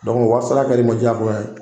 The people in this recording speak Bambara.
wari sara kɛ l'i ma diyagoya ye.